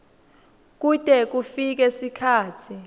kute kufike sikhatsi